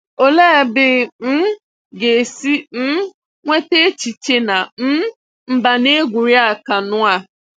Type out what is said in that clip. Òlee ebe ị um ga-esi um nweta echiche na um mba na-egwúrị́a àkànụ́ a?